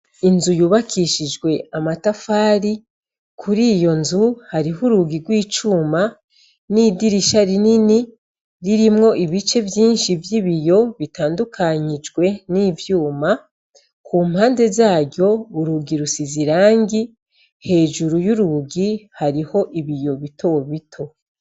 Inzu yubakishijwe amatafari, kuri iyo nzu hariho urugirw' icuma, n'idirisha rinini ririmwo ibice vyinshi vy'ibiyo bitandukanyijwe n'ivyuma ku mpande zaryo urugirusi zirangi hejuru y'urugi hariho ibia iyo bito wo bito.